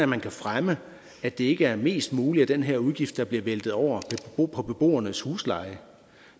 man kan fremme at det ikke er mest muligt af den her udgift der bliver væltet over på beboernes husleje